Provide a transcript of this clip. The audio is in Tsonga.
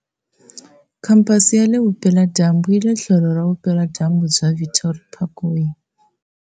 Khamphasi ya le vupela-dyambu yi le tlhelo ra vupela-dyambu bya Victory Parkway.